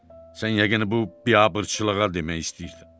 Sən yəqin bu biabırçılığa demək istəyirdin.